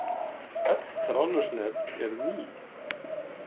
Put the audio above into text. Öll þráðlaus net eru ný.